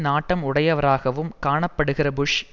நாட்டம் உடையவராகவும் காணப்படுகிற புஷ்